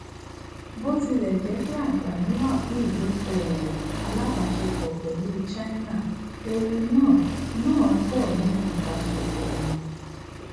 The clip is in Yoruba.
botilẹjẹ pé aanfani wà fún idokowo alabaṣepọ pẹlú china ewu náà náà pọ níbi ìbáṣepọ wọn